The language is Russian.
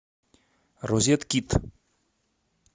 розеткид